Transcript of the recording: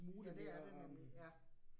Ja, det er det nemlig, ja